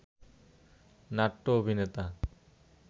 নাট্য অভিনেতা